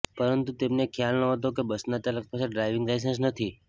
પરંતુ તેમને ખ્યાલ નહોતો કે બસના ચાલક પાસે ડ્રાઈવિંગ લાઈસન્સ નથી